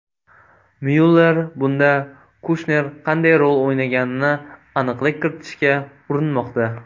Myuller bunda Kushner qanday rol o‘ynaganini aniqlik kiritishga urinmoqda.